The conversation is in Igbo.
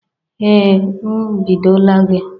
Ee m ebidola gị.